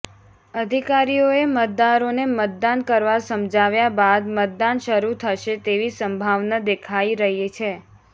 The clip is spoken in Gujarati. અધિકારીઓએ મતદારોને મતદાન કરવા સમજાવ્યા બાદ મતદાન શરૂ થશે તેવી સંભાવના દેખાઈ રહી છે